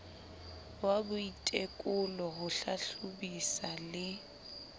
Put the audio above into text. wa boitekolo ho hlahlobisa le